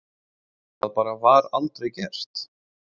Það bara var aldrei gert.